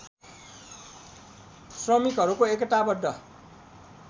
श्रमिकहरूको एकतावद्ध